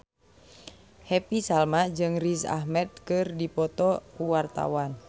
Happy Salma jeung Riz Ahmed keur dipoto ku wartawan